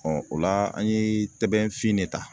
o la an ye tɛbɛn fin ne ta